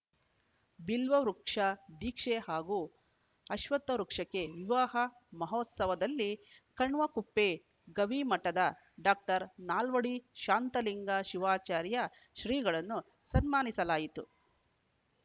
ಬಿಲ್ವ ವೃಕ್ಷ ಧೀಕ್ಷೆ ಹಾಗೂ ಅಶ್ವತ್ಥ ವೃಕ್ಷಕ್ಕೆ ವಿವಾಹ ಮಹೋತ್ಸವದಲ್ಲಿ ಕಣ್ವಕುಪ್ಪೆ ಗವಿಮಠದ ಡಾಕ್ಟರ್ ನಾಲ್ವಡಿ ಶಾಂತಲಿಂಗ ಶಿವಾಚಾರ್ಯ ಶ್ರೀಗಳನ್ನು ಸನ್ಮಾನಿಸಲಾಯಿತು